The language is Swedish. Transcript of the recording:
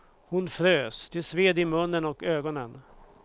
Hon frös, det sved i munnen och ögonen.